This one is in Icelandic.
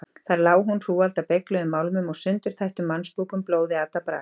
Þar lá hún: hrúgald af beygluðum málmum og sundurtættum mannsbúkum, blóði atað brak.